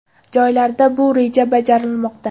Joylarda bu reja bajarilmoqda.